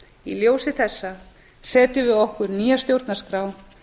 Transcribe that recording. í þessu ljósi setjum við okkur nýja stjórnarskrá